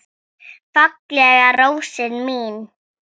Fallega rósin mín.